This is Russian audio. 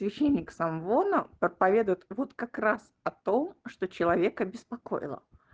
ты феникс амвона проповедуют вот как раз о том что человека беспокоило